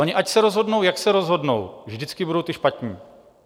Oni ať se rozhodnou, jak se rozhodnou, vždycky budou ti špatní.